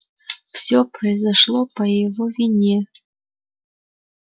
всё произошло по его вине